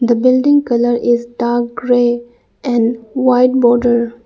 The building colour is dark grey and white border.